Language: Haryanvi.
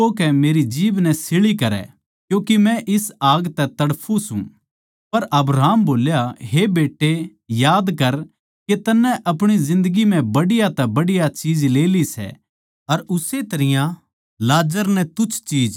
फेर उसनै रुक्का मारकै कह्या हे पिता अब्राहम मेरै पै दया करकै लाजर नै भेज दे ताके वो अपणी आन्गळी का कुणा पाणी म्ह डबोकै मेरी जीभ नै शीळी करै क्यूँके मै इस आग तै तड़फूं सूं